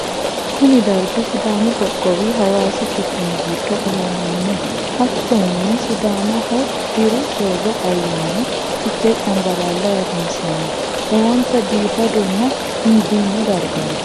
kuni dargi sidamu qoqqowi hawasi quchumi giddo afamanno. hattonni sidamaho diru soorro ayani fichee cambalaala ayirinsanni. lowonta biifadonna injiino dargati.